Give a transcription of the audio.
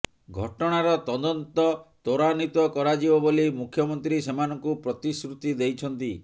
ଘଟଣାର ତଦନ୍ତ ତ୍ୱରାନ୍ୱିତ କରାଯିବ ବୋଲି ମୁଖ୍ୟମନ୍ତ୍ରୀ ସେମାନଙ୍କୁ ପ୍ରତିଶ୍ରୁତି ଦେଇଛନ୍ତି